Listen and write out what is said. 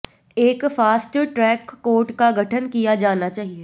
एक fast track court का गठन किया जाना चाहिए